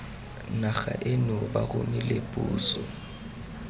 naga eno ba romile puso